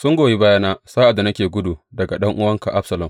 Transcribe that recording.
Sun goyi bayana sa’ad da nake gudu daga ɗan’uwanka Absalom.